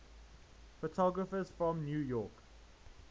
photographers from new york